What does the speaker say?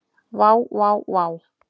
Vá vá vá.